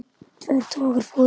Tveir togarar fórust.